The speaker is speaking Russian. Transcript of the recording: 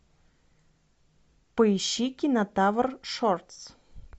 поищи кинотавр шортс